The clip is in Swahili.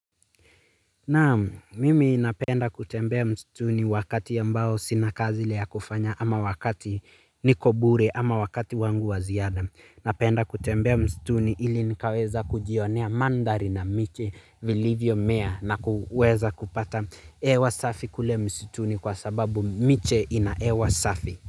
Naam, mimi napenda kutembea msituni wakati ambao sina kazi ile kufanya ama wakati niko bure ama wakati wangu wa ziada. Napenda kutembea msituni ili nikaweza kujionea mandhari na miche, vilivyo mea na kuweza kupata hewa safi kule msituni kwa sababu miche ina hewa safi.